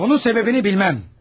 Bunun səbəbini bilməm.